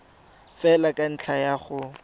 fela ka ntlha ya go